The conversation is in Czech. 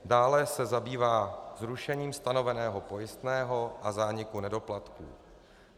Dále se zabývá zrušením stanoveného pojistného a zániku nedoplatků.